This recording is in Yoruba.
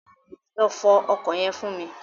Lọ fọ ọkọ̀ yẹn fún mi.